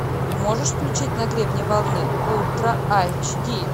можешь включить на гребне волны ультра айч ди